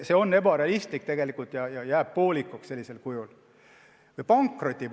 See on ebarealistlik ja jääb sellisel juhul poolikuks.